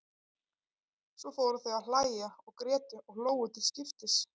Svo fóru þau að hlæja og grétu og hlógu til skiptis.